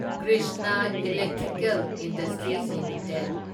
Krishna Electrical Industries limited